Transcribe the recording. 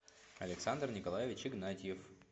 александр николаевич игнатьев